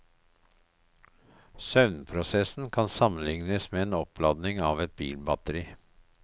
Søvnprosessen kan sammenlignes med oppladningen av et bilbatteri.